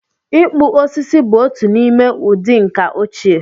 Ịkpụ osisi bụ otu n'ime ụdị ǹkà ochie